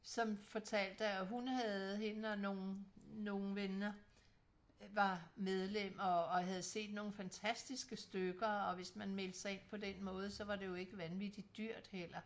Som fortalte at hun havde hende og nogen nogen veninder var medlem og og havde set nogen fantastiske stykker og hvis man meldte sig ind på den måde var det jo ikke vanvittigt dyrt heller